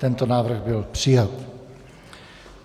Tento návrh byl přijat.